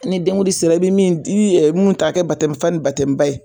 Ni denkundi sera i be mun di i be mun ta k'a kɛ ye